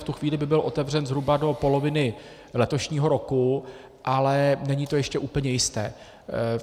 V tu chvíli by byl otevřen zhruba do poloviny letošního roku, ale není to ještě úplně jisté.